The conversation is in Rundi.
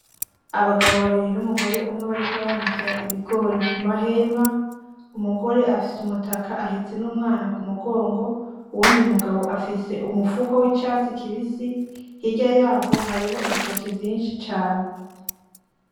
Abagabo babiri numugore umwe bariko baranikira ibigori kumahema. Umugore afise umutaka ahetse n'umwana kumugongo, uwundi mugabo afise umufuko wicatsi kibisi, hirya yaho hariho ibitoki vyinshi cane.